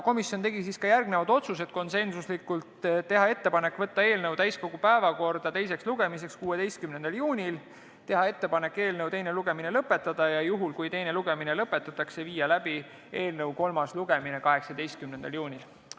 Komisjon tegi järgmised otsused : teha ettepanek võtta eelnõu täiskogu päevakorda teiseks lugemiseks 16. juuniks, teha ettepanek eelnõu teine lugemine lõpetada, ja juhul, kui teine lugemine lõpetatakse, viia läbi eelnõu kolmas lugemine 18. juunil.